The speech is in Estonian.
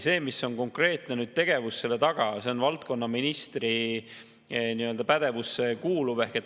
See, milline on konkreetne tegevus selle taga, on tõesti valdkonnaministri pädevuses.